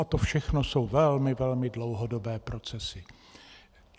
A to všechno jsou velmi, velmi dlouhodobé procesy.